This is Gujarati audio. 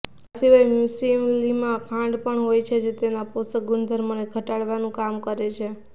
આ સિવાય મ્યુસલીમાં ખાંડ પણ હોય છે જે તેના પોષક ગુણધર્મોને ઘટાડવાનું કામ કરે છે